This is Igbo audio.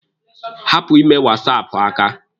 Hapụ ime wasaapụ aka!